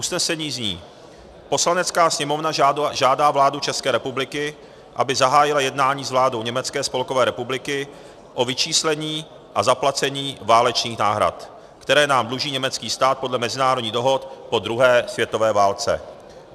Usnesení zní: "Poslanecká sněmovna žádá vládu České republiky, aby zahájila jednání s vládou Německé spolkové republiky o vyčíslení a zaplacení válečných náhrad, které nám dluží německý stát podle mezinárodních dohod po druhé světové válce."